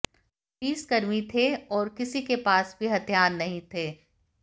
पुलिसकर्मी थे और किसी के पास भी हथियार नहीं थे